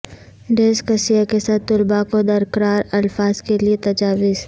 dyslexia کے ساتھ طلباء کو درکار الفاظ کے لئے تجاویز